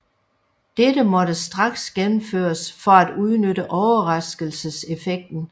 Dette måtte straks gennemføres for at udnytte overraskelseseffekten